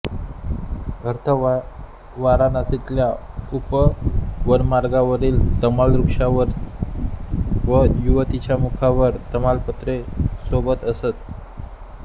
अर्थ वाराणसीतल्या उपवनमार्गावरील तमालवृक्षांवर व युवतीच्या मुखांवर तमालपत्रे सोबत असत